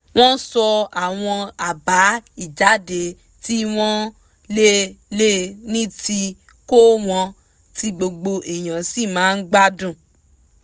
wọ́n sọ àwọn àbá ìjáde tí wọ́n lè lè ní tí kò wọ́n tí gbogbo èèyàn sì máa gbádùn